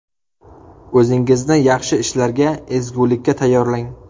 O‘zingizni yaxshi ishlarga, ezgulikka tayyorlang.